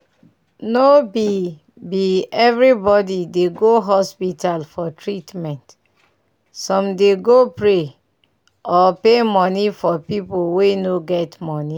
no be be everybody dey go hospital for treatment some dey go to pray or pay money for pipu wey no get money.